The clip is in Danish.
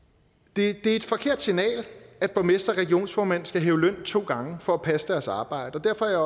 det er et forkert signal at at borgmestre og regionsformænd skal hæve løn to gange for at passe deres arbejde og derfor er